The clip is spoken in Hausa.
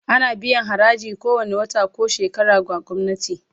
Ana biyan haraji kowane wata ko shekara ga gwamnati